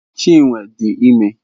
Chinwe dị ime.